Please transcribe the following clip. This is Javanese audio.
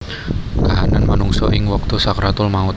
Kahanan manungsa ing wektu sakaratul maut